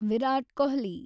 Virat Kohli